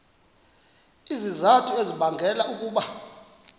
izizathu ezibangela ukuba